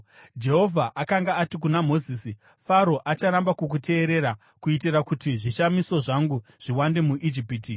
Jehovha akanga ati kuna Mozisi, “Faro acharamba kukuteerera, kuitira kuti zvishamiso zvangu zviwande muIjipiti.”